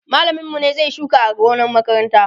mallamin mu ne zai Yi shuka a gonan makaranta